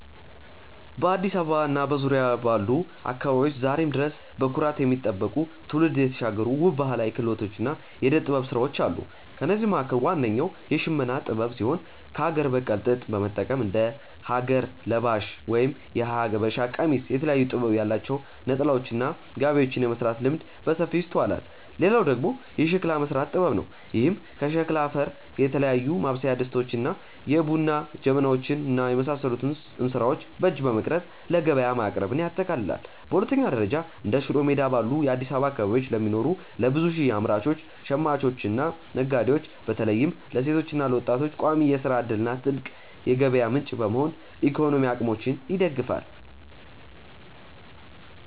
በአዲስ አበባ እና በዙሪያዋ ባሉ አካባቢዎች ዛሬም ድረስ በኩራት የሚጠበቁ፣ ትውልድ የተሻገሩ ውብ ባህላዊ ክህሎቶችና የዕደ-ጥበብ ሥራዎች አሉ። ከእነዚህም መካከል ዋነኛው የሽመና ጥበብ ሲሆን፣ ከአገር በቀል ጥጥ በመጠቀም እንደ ሀገር ለባሽ (የሀበሻ ቀሚስ)፣ የተለያየ ጥበብ ያላቸው ነጠላዎችና ጋቢዎችን የመሥራት ልምድ በሰፊው ይስተዋላል። ሌላው ደግሞ የሸክላ መሥራት ጥበብ ነው፤ ይህም ከሸክላ አፈር የተለያዩ ማብሰያ ድስቶችን፣ የቡና ጀበናዎችን እና የውሃ እንስራዎችን በእጅ በመቅረጽ ለገበያ ማቅረብን ያጠቃልላል። በሁለተኛ ደረጃ፣ እንደ ሽሮ ሜዳ ባሉ የአዲስ አበባ አካባቢዎች ለሚኖሩ ለብዙ ሺህ አምራቾች፣ ሽማኞችና ነጋዴዎች (በተለይም ለሴቶችና ለወጣቶች) ቋሚ የሥራ ዕድልና ትልቅ የገቢ ምንጭ በመሆን የኢኮኖሚ አቅማቸውን ይደግፋሉ።